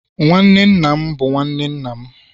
nwanne nna m bụ nwanne nna m